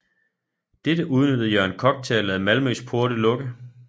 Dette udnyttede Jørgen Kock til at lade Malmøs porte lukke